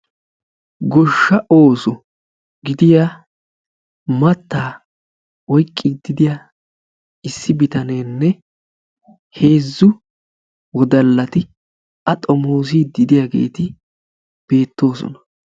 gosha ooso gidiya matta oyqidi de'iya bittanene heezzu assati a xomosiyagettika beettosona.